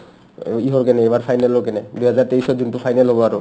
অ, ইহৰ কাৰণে ইবাৰ final ৰ কাৰণে দুইহাজাৰ তেইছত যোনটো final হ'ব আৰু